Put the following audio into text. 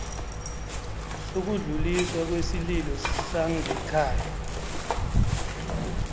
sokudluliswa kwesililo sangekhaya